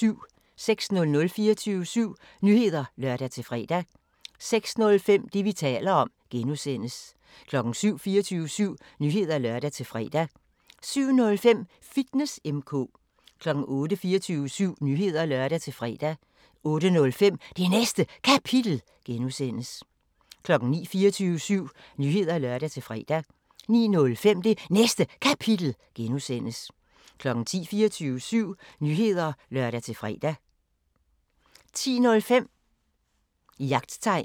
06:00: 24syv Nyheder (lør-fre) 06:05: Det, vi taler om (G) 07:00: 24syv Nyheder (lør-fre) 07:05: Fitness M/K 08:00: 24syv Nyheder (lør-fre) 08:05: Det Næste Kapitel (G) 09:00: 24syv Nyheder (lør-fre) 09:05: Det Næste Kapitel (G) 10:00: 24syv Nyheder (lør-fre) 10:05: Jagttegn